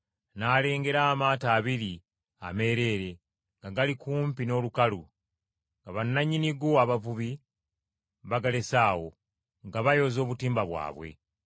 n’alengera amaato abiri ameereere nga gali kumpi n’olukalu, nga bannannyinigo abavubi, bagalese awo, nga bayoza obutimba bwabwe.